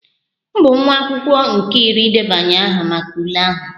M bụ nwa akwụkwọ nke iri idebanye aha maka ule ahụ